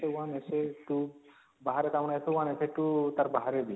essay 1 essay 2 ବାହାରେ କାମ ଟା essay 1 essay 2 ତାର ବାହାରେ ବି